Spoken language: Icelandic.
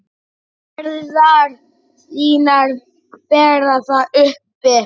Herðar þínar bera það uppi.